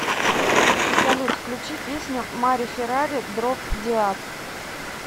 салют включи песню мари феррари дроб деад